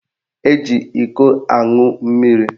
Eji ịkọ aṅụ mmiri.